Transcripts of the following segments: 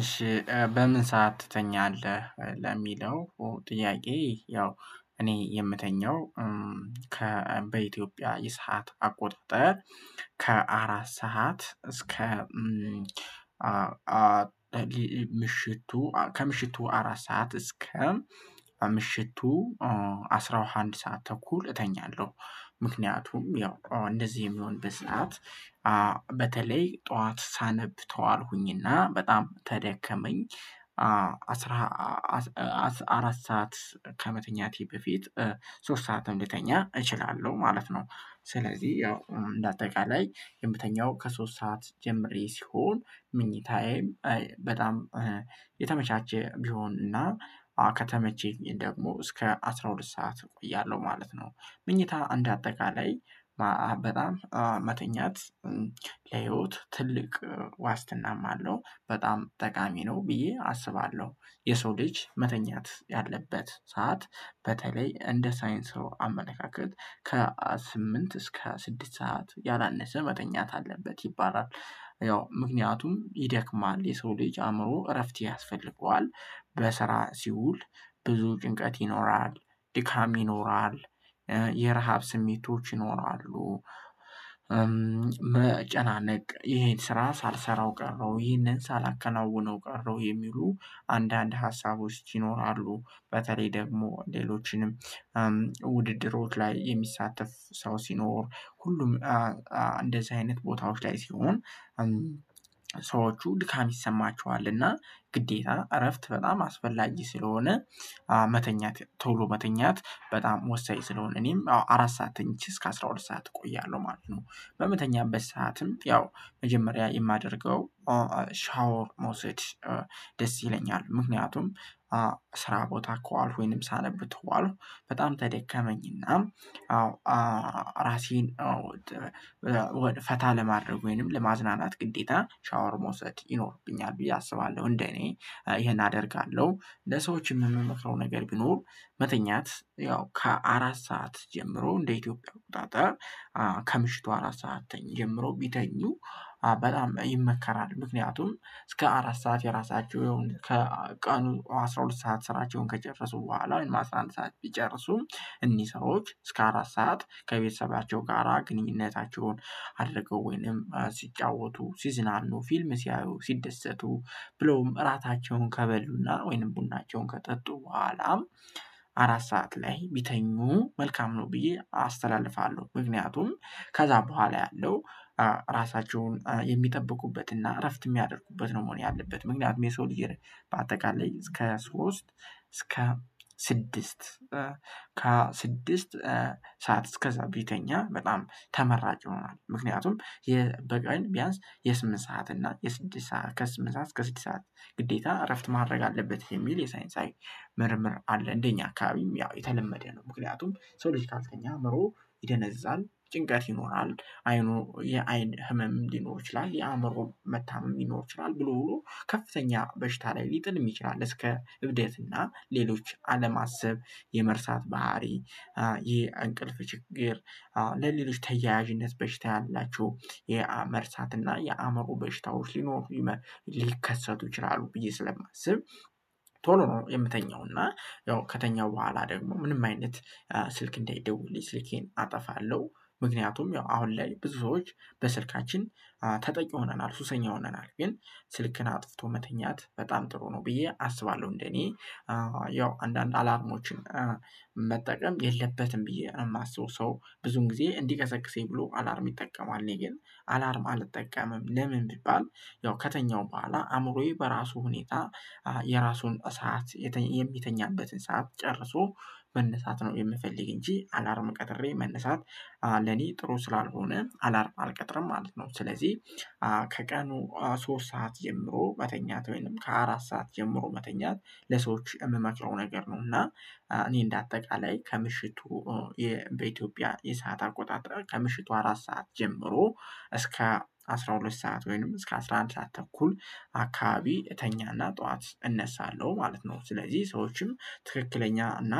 እሺ "በምን ሰዓት ትተኛለህ?" ለሚለው ጥያቄ ያው እኔ የምተኛው ከ በኢትዮጵያ የሰዓት አቆጣጠር ከአራት ሰዓት እስከ ምሽቱ ከምሽቱ አራት ሰዓት እስከ ምሽቱ አስራ አንድ ሰዓት ተኩል እተኛለሁ። ምክንያቱም ያው እንደዚህ የሚሆንበት ሰዓት በተለይ ጠዋት ሳነብ ተዋልኩኝና በጣም ተደከመኝ አስራ አስ አራት ሰዓት ከመተኛቴ በፊት ሶስት ሰዓትም ልተኛ እችላለሁ ማለት ነው። ስለዚህ ያው እንደ አጠቃላይ የምተኛው ከሶስት ሰዓት ጀምሬ ሲሆን መኝታዬ በጣም የተመቻቸ ቢሆንና ከተመቸኝ ደግሞ እስከ አስራ ሁለት ሰዓት እቆያለሁ ማለት ነው። መኝታ እንዳጠቃላይ በጣም መተኛት ለህይወት ትልቅ ዋስትናም አለው፤ በጣም ጠቃሚ ነው ብዬ አስባለሁ። የሰው ልጅ መተኛት ያለበት ሰዓት በተለይ እንደ ሳይንሱ አመለካከት ከስምንት እስከ ስድስት ሰዓት ያላነሰ መተኛት አለበት ይባላል። ያው ምክንያቱም ይደክማል የሰው ልጅ አእምሮ እረፍት ያስፈልገዋል። በስራ ሲውል ብዙ ጭንቀት ይኖራል፣ ድካም ይኖራል፣ የረሃብ ስሜቶች ይኖራሉ፣ መጨናነቅ ይሄን ስራ ሳልሰራው ቀረሁ ይሄንን ሳላከናውነው ቀረሁ የሚሉ አንዳንድ ሀሳቦች ይኖራሉ። በተለይ ደግሞ ሌሎችንም ውድድሮች ላይ የሚሳተፍ ሰው ሲኖር ሁሉም እንደዚህ አይነት ቦታዎች ላይ ሲሆን ሰዎቹ ድካም ይሰማቸዋል እና ግዴታ እረፍት በጣም አስፈላጊ ስለሆነ መተኛት ቶሎ መተኛት በጣም ወሳኝ ስለሆነ እኔም አራት ሰዓት ተኝቼ እስከ አስራ ሁለት ሰዓት እቆያለሁ ማለት ነው። በምተኛበት ሰዓትም ያው መጀመሪያ የማደርገው ሻወር መውሰድ ደስ ይለኛል። ምክንያቱም ስራ ቦታ ከዋልኩ ወይም ሳነብ ተዋልኩ በጣም ተደከመኝና አዎ አዎ ራሴን አዎ ጥ ወደ ፈታ ለማድረግ ወይንም ለማዝናናት ግዴታ ሻወር መውሰድ ይኖርብኛል ብዬ አስባለሁ እንደኔ ይሄን አደርጋለሁ። ለሰዎችም የምመክረው ነገር ቢኖር መተኛት ያው ከአራት ሰዓት ጀምሮ እንደ ኢትዮጵያ አቆጣጠር ከምሽቱ አራት ሰዓት ተኝ ጀምሮ ቢተኙ በጣም ይመከራል። ምክንያቱም እስከ አራት ሰዓት የራሳቸው የሆነ ከቀኑ አስራ ሁለት ሰዓት ስራቸውን ከጨፈሱ በኋላ ወይም አስራ አንድ ሰዓት ቢጨርሱ እኚህ ሰዎች እስከ አራት ሰዓት ከቤተሰባቸው ጋራ ግንኙነታቸውን አድርገው ወይንም ሲጫወቱ ሲዝናኑ ፊልም ሲያዩ ሲደሰቱ ብሎም እራታቸውን ከበሉና ወይንም ቡናቸውን ከጠጡ በኋላም አራት ሰዓት ላይ ቢተኙ መልካም ነው ብዬ አስተላልፋለሁ። ምክንያቱም ከዛ በኋላ ያለው ራሳቸውን የሚጠብቁበትና እረፍት የሚያደርጉበት ነው መሆን ያለበት። ምክንያቱም የሰው ልጅ በአጠቃላይ እስከ ሶስት እስከ ስድስት ከ ስድስት ሰዓት እስከዛ ቢተኛ በጣም ተመራጭ ይሆናል። ምክንያቱም የበቀን ቢያንስ የስምንት ሰዓት እና የስድስት ሰዓት ከስምንት ሰዓት እስከ ስድስት ሰዓት ግዴታ እረፍት ማድረግ አለበት የሚል የሳይንሳዊ ምርምር አለ እንደኛ አካባቢም ያው የተለመደ ነው። ምክንያቱም ሰው ልጅ ካልተኛ አእምሮው ይደነዝዛል ጭንቀት ይኖራል አይኑ የአይን ህመም ሊኖር ይችላል የአእምሮ መታመም ሊኖር ይችላል ብሎ ብሎ ከፍተኛ በሽታ ላይ ሊጥልም ይችላል እስከ እብደት እና ሌሎች አለማሰብ፣ የመርሳት ባህሪ፣ የእንቅልፍ ችግር ለሌሎች ተያያዥነት በሽታ ያላቸው የመርሳትና የአእምሮ በሽታው ሊኖር ሊከሰቱ ይችላሉ ብዬ ስለማስብ ቶሎ ነው የምተኛው እና ያው ከተኛው በኋላ ደግሞ ምንም አይነት ስልክ እንዳይደውልልኝ ስልኬን አጠፋለሁ። ምክንያቱም ያው አሁን ላይ ብዙ ሰዎች በስልካችን ተጠቂ ሆነናል ሱሰኛ ሆነናል፤ ግን ስልክን አጥፍቶ መተኛት በጣም ጥሩ ነው ብዬ አስባለሁ እንደኔ። ያው አንዳንድ አላርሞችን መጠቀም የለበትም ብዬ ነው የማስበው ሰው ብዙን ጊዜ እንዲቀሰቅሰኝ ብሎ አላርም ይጠቀማል፤ እኔ ግን አላርም አልጠቀምም ለምን ቢባል ያው ከተኛው በኋላ አእምሮዬ በራሱ ሁኔታ የራሱን ሰዓት የሚተኛበትን ሰዓት ጨርሶ መነሳት ነው የምፈልግ እንጂ አላርም ቀጥሬ መነሳት ለኔ ጥሩ ስላልሆነ አላርም አልቀጥርም ማለት ነው። ስለዚህ ከቀኑ ሶስት ሰዓት ጀምሮ መተኛት ወይንም ከአራት ሰዓት ጀምሮ መተኛት ለሰዎች የምመክረው ነገር ነው፤ እና እኔ እንደ አጠቃላይ ከምሽቱ የ በኢትዮጵያ የሰዓት አቆጣጠር ከምሽቱ አራት ሰዓት ጀምሮ እስከ አስራ ሁለት ሰዓት ወይንም እስከ አስራ አንድ ሰዓት ተኩል አካባቢ እተኛና ጠዋት እነሳለሁ ማለት ነው። ስለዚህ ሰዎችም ትክክለኛ እና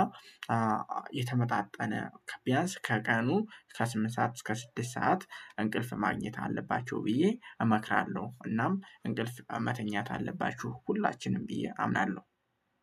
የተመጣጠነ ከ ቢያንስ ከቀኑ ከስምንት ሰዓት እስከ ስድስት ሰዓት እንቅልፍ ማግኘት አለባቸው ብዬ እመክራለሁ እናም እንቅልፍ መተኛት አለባችሁ ሁላችንም ብዬ አምናለሁ።